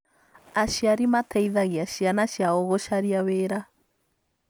Aciari mateithagia ciana ciao gũcaria wĩra